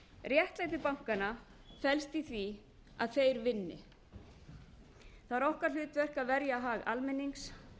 réttlæti bankanna felst í því að þeir vinni það er okkar hlutverk að verja hag almennings